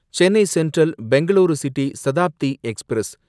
Chennai Central Bengaluru City Shatabdi express